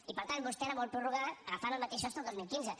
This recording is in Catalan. i per tant vostè ara vol prorrogar agafant el mateix sostre del dos mil quinze